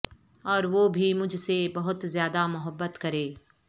اور وہ بھی مجھ سے بہت زیادہ محبت کرے